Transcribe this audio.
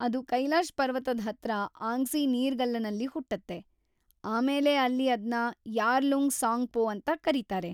ಅದ್‌ ಕೈಲಾಶ್‌ ಪರ್ವತದ ಹತ್ರ ಆಂಗ್ಸಿ ನೀರ್ಗಲ್ಲನಲ್ಲಿ ಹುಟ್ಟತ್ತೆ , ಆಮೇಲೆ ಅಲ್ಲಿ ಅದ್ನ ಯಾರ್ಲುಂಗ್‌ ಸಾಂಗ್‌ಪೋ ಅಂತ ಕರೀತಾರೆ.